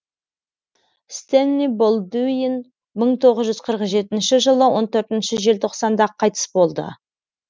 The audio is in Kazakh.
стэнли болдуин мың тоғыз жүз қырық жетінші жылы он төртінші желтоқсанда қайтыс болды